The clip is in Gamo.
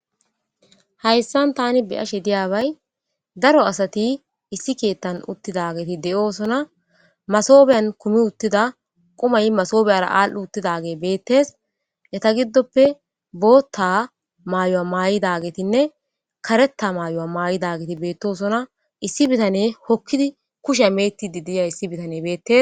hayssan tani beyashe diyaabay daro asati issi keettan uttidageti de7osona masobiyan kumi uttida qumay masoobiyara aal7u uttidage beettes eta giddoppe bootta maayo7a maa7idagetinne kareta maayo7a maay7idageti beettosona issi bitane hokkidi kusha mettidi diya issi bitane beettes